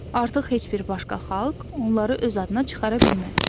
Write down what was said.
Artıq heç bir başqa xalq onları öz adına çıxara bilməz.